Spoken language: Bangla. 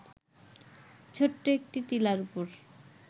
ছোট্ট একটি টিলার উপর